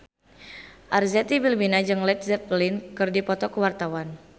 Arzetti Bilbina jeung Led Zeppelin keur dipoto ku wartawan